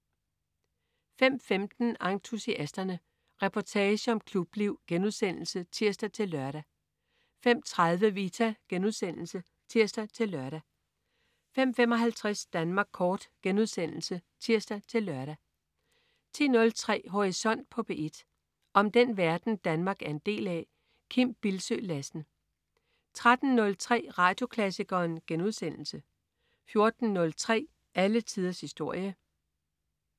05.15 Entusiasterne. Reportage om klubliv* (tirs-lør) 05.30 Vita* (tirs-lør) 05.55 Danmark Kort* (tirs-lør) 10.03 Horisont på P1. Om den verden, Danmark er en del af. Kim Bildsøe Lassen 13.03 Radioklassikeren* 14.03 Alle tiders historie*